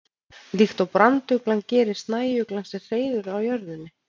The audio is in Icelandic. Líkt og branduglan gerir snæuglan sér hreiður á jörðinni.